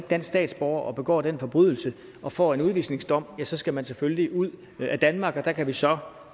dansk statsborger og begår den forbrydelse og får en udvisningsdom ja så skal man selvfølgelig ud af danmark der kan vi så